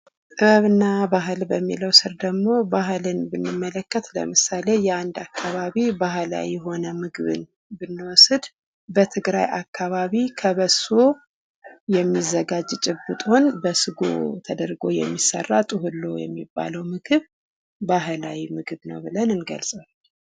ጥበብና ባህል በሚለው ስር ባህልን ብንመለከት ለምሳሌ የአንድ አካባቢ ባህላዊ የሆነው ምግብን ብንወስድ በትግራይ አካባቢ ከበሶ የሚዘጋጅ ጭብጦን በስጎ ተደርጎ የሚሰራ ምግብ ብሎ ጡብሎ የሚባለው ምግብ ባህላዊ ምግብ ነው።